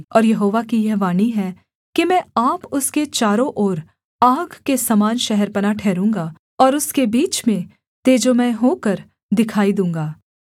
और यहोवा की यह वाणी है कि मैं आप उसके चारों ओर आग के समान शहरपनाह ठहरूँगा और उसके बीच में तेजोमय होकर दिखाई दूँगा